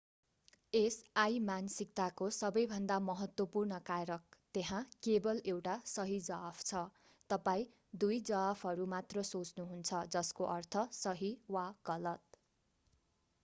यस अइमानसिकताको सबैभन्दा महत्त्वपूर्ण कारक त्यहाँ केबल एउटा सही जवाफ छ तपाईं दुई जवाफहरू मात्र सोच्नु हुन्छ जस्को अर्थ सही वा गलत